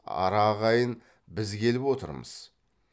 ара ағайын біз келіп отырмыз